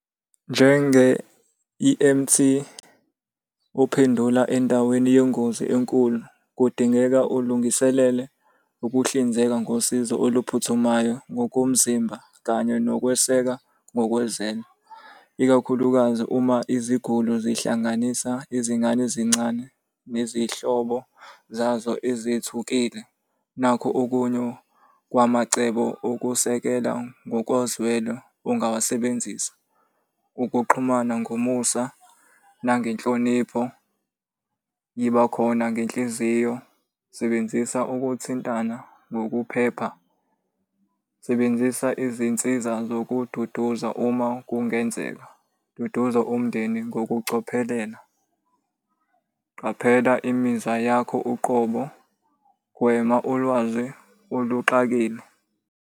Njenge-E_M_T ophendula endaweni yengozi enkulu, kudingeka ulungiselele ukuhlinzeka ngosizo oluphuthumayo ngokomzimba kanye nokweseka , ikakhulukazi uma iziguli zihlanganisa izingane zincane nezihlobo zazo ezithukile. Nakhu okunye kwamacebo okusekela ngokozwelo ongawasebenzisa. Ukuxhumana ngomusa nangenhlonipho, yibakhona ngenhliziyo, sebenzisa ukuthintana ngokuphepha, sebenzisa izinsiza zokududuza uma kungenzeka, duduza umndeni ngokucophelela, qaphela imizwa yakho uqobo, gwema ulwazi oluxakile.